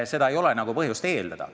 Seda ei ole põhjust eeldada.